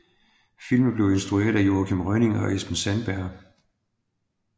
Filmen blev instrueret af Joachim Rønning og Espen Sandberg